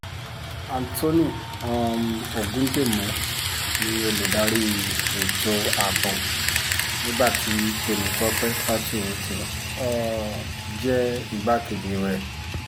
anthony um ọ̀gùdímù ni ólùdarí ètò ààbò nígbà tí tèmítọ́pẹ́ faturoti um jẹ́ igbákejì rẹ̀